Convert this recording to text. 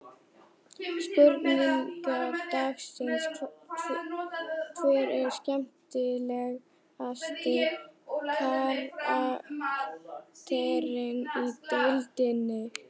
Spurning dagsins: Hver er skemmtilegasti karakterinn í deildinni?